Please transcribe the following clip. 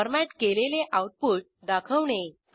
format केलेले output दाखवणे